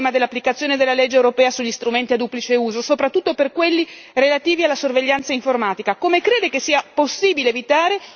Come intende la Commissione risolvere il problema dell'applicazione della legge europea sugli strumenti a duplice uso, soprattutto per quelli relativi alla sorveglianza informatica?